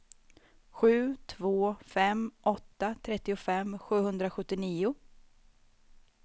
sju två fem åtta trettiofem sjuhundrasjuttionio